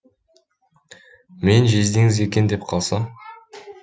мен жездеңіз екен деп қалсам